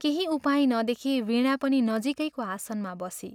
केही उपाय नदेखी वीणा पनि नजीकैको आसनमा बसी।